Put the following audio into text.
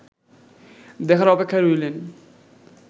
দেখার অপেক্ষায় রইলেন